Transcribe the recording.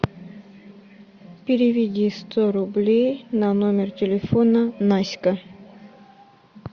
переведи сто рублей на номер телефона наська